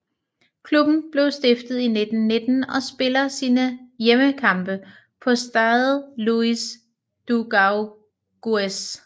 Klubben blev stiftet i 1919 og spiller sine hjemmekampe på Stade Louis Dugauguez